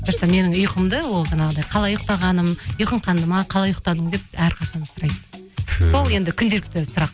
просто менің ұйқымды ол жаңағыдай қалай ұйықтағаным ұйқың қанды ма қалай ұйықтадың деп әрқашан сұрайды сол енді күнделікті сұрақ